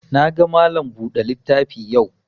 Na ga Malam buɗe littafi yau